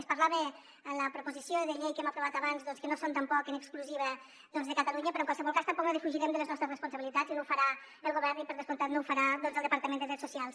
es parlava en la proposició de llei que hem aprovat abans doncs que no són tampoc en exclusiva de catalunya però en qualsevol cas tampoc no defugirem les nostres responsabilitats i no ho farà el govern i per descomptat no ho farà el departament de drets socials